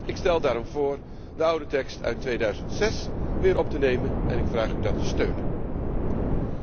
Ik stel daarom voor de oude tekst uit 2006 weer op te nemen en ik vraag u om uw steun hiervoor.